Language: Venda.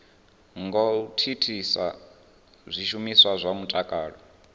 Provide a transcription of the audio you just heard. ngo thithisa zwishumiswa zwa mutakalo